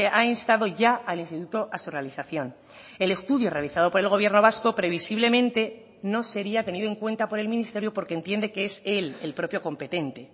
ha instado ya al instituto a su realización el estudio realizado por el gobierno vasco previsiblemente no sería tenido en cuenta por el ministerio porque entiende que es él el propio competente